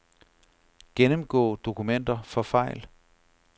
Gennemgå dokumenter for fejl.